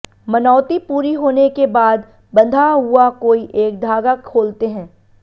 मनौती पूरी होने के बाद बंधा हुआ कोई एक धागा खोलते हैं